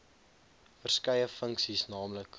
verskeie funksies nl